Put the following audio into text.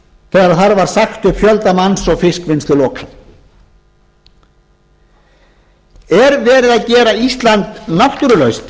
sagt upp fjölda manns og fiskvinnslu lokað er verið að gera ísland náttúrulaust